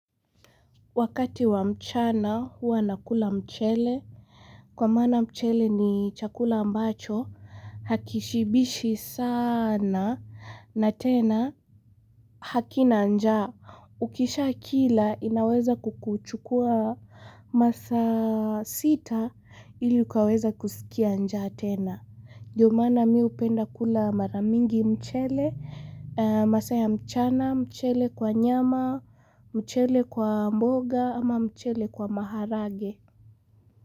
Wakati wa mchana huwa nakula mchele. Kwa maana mchele ni chakula ambacho, hakishibishi sana na tena hakina njaa. Ukishakila inaweza kukuchukua masaa sita ili ukaweza kusikia njaa tena. Ndio maana mimi hupenda kula mara mingi mchele, masaa ya mchana, mchele kwa nyama, mchele kwa mboga ama mchele kwa maharage.